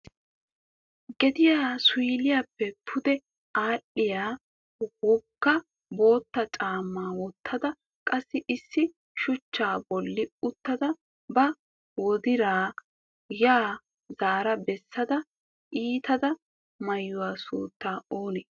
gediyaa suyliyappe pude aadhdhiyaa wogga botte caamma wottada qassi issi shuchcha bolli uttada ba wodiraa ha zaara bessada ittida ma'ee sunttau oonee?